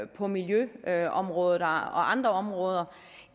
på miljøområdet og andre områder